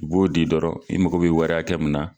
U b'o di dɔrɔn i mago bɛ wari hakɛ mun na